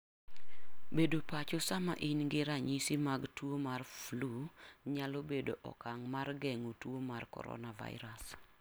Bedo pacho sama in gi ranyisi mag tuo mar flu nyalo bedo okang' mar geng'o tuo mar coronavirus.